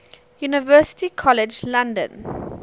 university college london